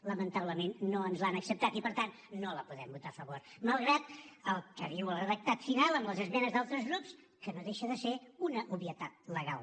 lamentablement no ens l’han acceptat i per tant no la podem votar a favor malgrat el que diu el redactat final amb les esmenes d’altres grups que no deixa de ser una obvietat legal